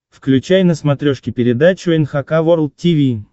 включай на смотрешке передачу эн эйч кей волд ти ви